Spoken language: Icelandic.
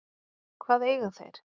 Hvað eiga þeir